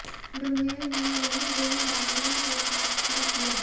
डुंगेल ने यह goal Danilo के पास पर किया